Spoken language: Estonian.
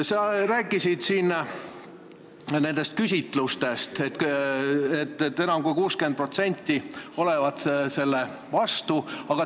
Sa rääkisid siin küsitlustest, et nende järgi enam kui 60% inimestest olevat vastu.